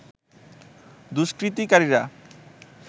দুষ্কৃতিকারীরা